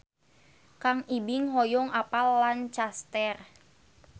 Kang Ibing hoyong apal Lancaster